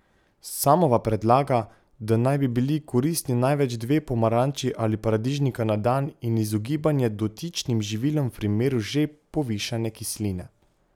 Samova predlaga, da naj bi bili koristni največ dve pomaranči ali paradižnika na dan in izogibanje dotičnim živilom v primeru že povišane kisline.